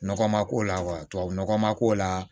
Nɔgɔ ma k'o la tubabu nɔgɔ ma k'o la